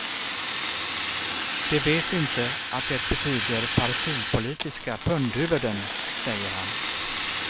De vet inte att det betyder partipolitiska pundhuvuden, säger han.